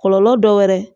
Kɔlɔlɔ dɔ wɛrɛ